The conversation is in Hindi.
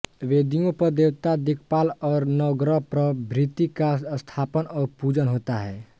वेदियों पर देवता दिक्पाल और नवग्रह प्रभृति का स्थापन और पूजन होता है